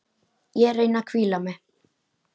Ég reyni að hvíla mig.